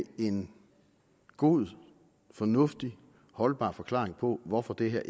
en god fornuftig holdbar forklaring på hvorfor det her